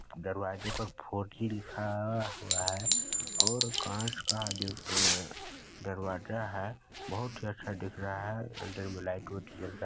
दरवाजे पर four G लिखा हुआ है और कांच का दरवाजा है बहुत ही अच्छा दिख रहा है अन्दर में लाइट उट जल रहा हैं।